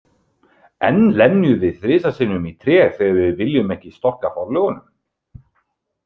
Enn lemjum við þrisvar sinnum í tré þegar við viljum ekki „storka forlögunum“.